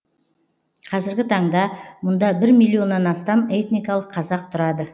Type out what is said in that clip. қазіргі таңда мұнда бір миллионнан астам этникалық қазақ тұрады